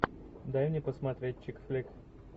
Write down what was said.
дай мне посмотреть чик флик